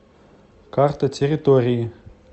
карта территории